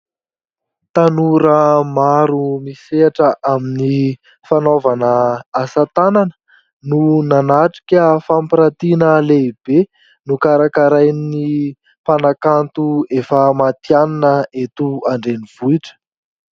Tanora maro misehatra amin'ny fanaovana asa tanana no nanatrika fampirantiana lehibe nokarakarain'ny mpanakanto efa matianina eto an-drenivohitra.